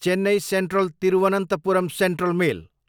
Chennai central, Thiruvananthapuram central mail